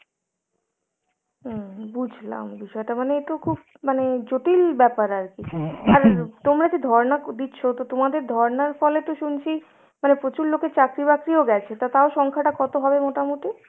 উম বুঝলাম, বিষয়টা মানে এতো খুব মানে জটিল ব্যাপার আর কী । আর তোমরা যে ধর্না দিচ্ছ তো তোমাদের ধর্নার ফলে তো শুনছি মানে প্রচুর লোকের চাকরি বাকরিও গেছে, তো তাও সংখ্যাটা কত হবে মোটামুটি?